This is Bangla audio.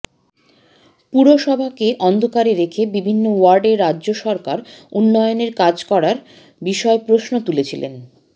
পুরসভাকে অন্ধকারে রেখে বিভিন্ন ওয়ার্ডে রাজ্য সরকার উন্নয়নের কাজ করার বিষয় প্রশ্ন তুলেছিলেন